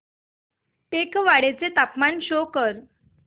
टेकवाडे चे तापमान शो कर